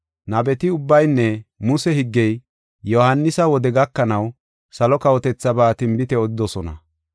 Nabeti ubbaynne Muse higgey Yohaanisa wode gakanaw salo kawotethaaba tinbite odidosona.